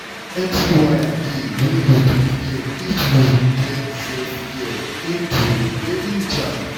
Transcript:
plenty waya dey wey you fit gain if you you blend self-care into your daily jam!